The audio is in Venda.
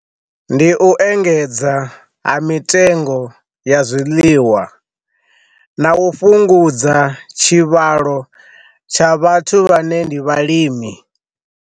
Ndi u engedza ha mitengo ya zwiḽiwa na u fhungudza tshivhalo tsha vhathu vhane ndi vhalimi.